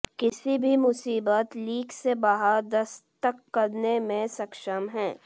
किसी भी मुसीबत लीक से बाहर दस्तक करने में सक्षम है